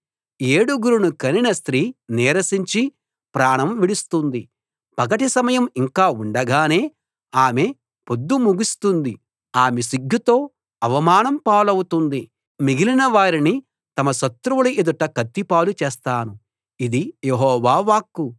ఏడుగురిని కనిన స్త్రీ నీరసించి ప్రాణం విడుస్తుంది పగటి సమయం ఇంకా ఉండగానే ఆమె పొద్దు ముగుస్తుంది ఆమె సిగ్గుతో అవమానం పాలవుతుంది మిగిలిన వారిని తమ శత్రువుల ఎదుట కత్తిపాలు చేస్తాను ఇది యెహోవా వాక్కు